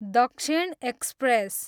दक्षिण एक्सप्रेस